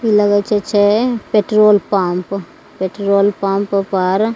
इ लगय छै पेट्रोल पंप पेट्रोल पंप पर --